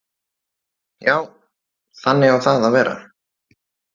Já, þannig á það að vera.